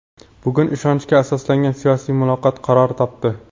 Bugun ishonchga asoslangan siyosiy muloqot qaror topdi.